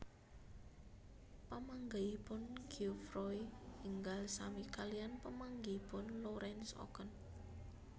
Pamanggihipun Geoffroy enggal sami kaliyan pamanggihipun Lorenz Oken